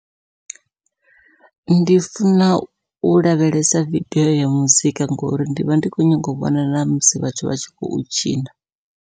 Ndi funa u lavhelesa vidio ya muzika ngori ndi vha ndi kho nyaga u vhona namusi vhathu vha tshi khou tshina.